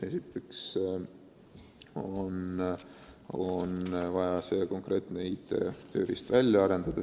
Esiteks on vaja konkreetne IT-tööriist välja arendada.